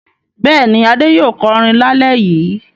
Bẹ́ẹ̀ni, Adé yóò kọrin lálẹ́ yìí.